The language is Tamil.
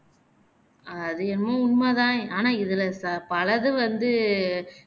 அது என்னமோ உண்மைதான் ஆனா இதுல சபல இதுவந்து